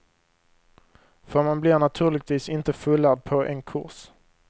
För man blir naturligtvis inte fullärd på en kurs.